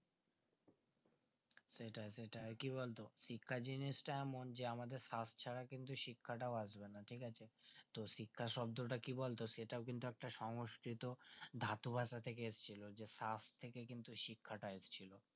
সেটাই সেটাই আর কি বলতো শিক্ষা জিনিসটা এমন যে আমাদের খাপছাড়া কিন্তু শিক্ষাটাও আসবে না ঠিক আছে তো শিক্ষা শব্দতা কি বলতো এটাও কিন্তু একটা সংস্কৃত ধাতু ভাষা থেকে এসেছে তো তার থেকে কিন্তু শিক্ষা তা এসেছে